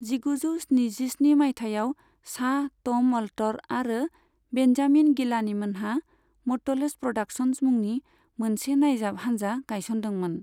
जिगुजौ स्निजिस्नि मायथाइयाव, शाह, ट'म अल्टर आरो बेन्जामिन गिलानी मोनहा म'टलेस प्र'डाकसन्स मुंनि मोनसे नायजाब हानजा गायसनदोंमोन।